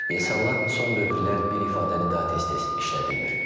İnsanlar son dövrlər bir ifadəni daha tez-tez işlədirlər.